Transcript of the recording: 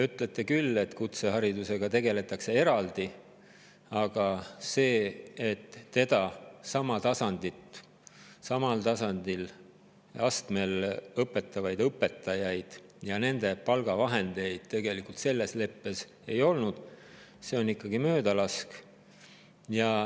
Ütlete küll, et kutseharidusega tegeldakse eraldi, aga see, et samal tasandil või astmel õpetavaid õpetajaid ja nende palgavahendeid selles leppes ei olnud, on ikkagi möödalask.